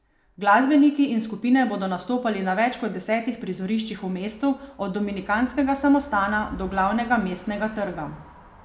Glasbeniki in skupine bodo nastopali na več kot desetih prizoriščih v mestu od dominikanskega samostana do glavnega Mestnega trga.